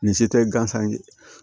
Nin si tɛ gansan ye